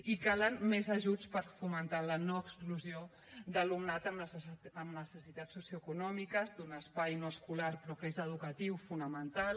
i calen més ajuts per fomentar la no exclusió d’alumnat amb necessitats socioeconòmiques d’un espai no escolar però que és educatiu fonamental